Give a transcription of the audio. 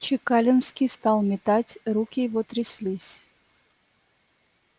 чекалинский стал метать руки его тряслись